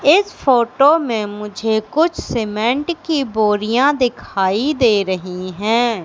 इस फोटो में मुझे कुछ सीमेंट की बोरियां दिखाई दे रही है।